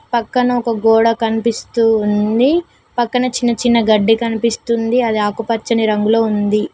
పక్కన ఒక గోడ కనిపిస్తూ ఉంది పక్కన చిన్న చిన్న గడ్డి కనిపిస్తుంది అది ఆకుపచ్చని రంగులో ఉంది.